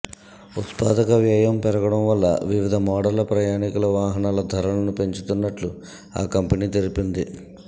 ఉత్పాదక వ్యయం పెరగడం వల్ల వివిధ మోడళ్ల ప్రయాణికుల వాహనాల ధరలను పెంచుతున్నట్టు ఆ కంపెనీ తెలిపింది